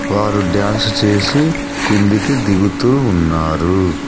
వారు డ్యాన్స్ చేసి కిందికి దిగుతూ ఉన్నారు.